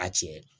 A tiɲɛ